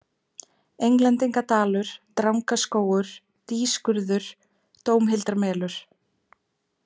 Englendingadalur, Drangaskógur, Dýskurður, Dómhildarmelur